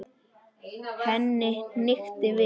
Henni hnykkti við.